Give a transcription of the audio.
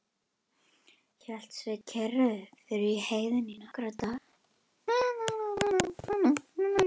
Hélt Sveinn kyrru fyrir í heiðinni í nokkra daga.